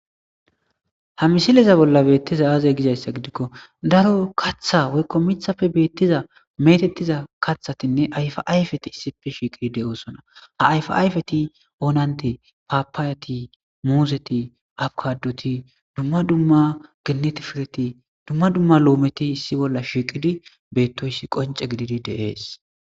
ha misileza bolla beettiza aaze gizayssa gidikko daro katha woykko mithapfe beettiza metettiza kathatinne ayfaayfeti issife shiiqidi de7oosona ha ayfaayfeti oonante paapaayati muuzeti abkadoti dumma dumma ginneti fireti dumma dumma loometi issi bolla shiiqidi beettoyssi qonce gididi deees